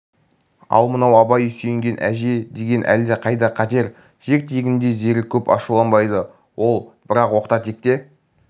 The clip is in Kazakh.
ал мынау абай сүйенген әже деген әлде қайда қатер жер тегінде зере көп ашуланбайды ал бірақ оқта-текте